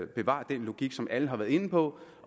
bevarer den logik som alle har været inde på